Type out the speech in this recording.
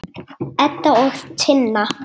Edda og Tinna.